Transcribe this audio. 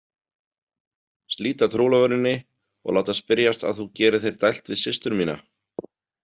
Slíta trúlofuninni og láta spyrjast að þú gerir þér dælt við systur mína?